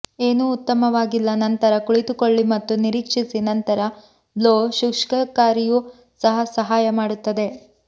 ಏನೂ ಉತ್ತಮವಾಗಿಲ್ಲ ನಂತರ ಕುಳಿತುಕೊಳ್ಳಿ ಮತ್ತು ನಿರೀಕ್ಷಿಸಿ ನಂತರ ಬ್ಲೋ ಶುಷ್ಕಕಾರಿಯೂ ಸಹ ಸಹಾಯ ಮಾಡುತ್ತದೆ